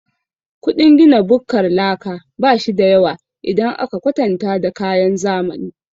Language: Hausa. Ƙudin gina bukkar laka bashida yawa idan aka kwatanta da kayan zamani.